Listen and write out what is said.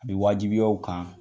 A bi wajibiya u kan